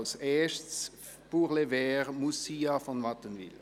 Für die grüne Fraktion: Grossrätin von Wattenwyl.